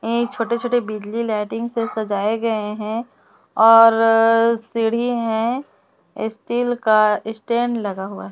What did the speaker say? ये छोटे छोटे बिजली लाइटिंग से सजाए गए हैं और सीढ़ी है स्टील का स्टैंड लगा हुआ--